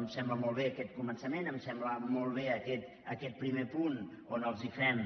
em sembla molt bé aquest començament em sembla molt bé aquest primer punt on els hi fem